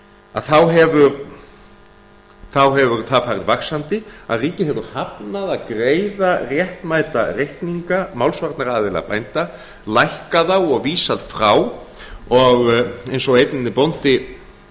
að þá hefur það farið vaxandi að ríkið hefur hafnað að greiða réttmæta reikninga málsvarnaraðila bænda lækkað þá og vísað frá og eins og einn bóndi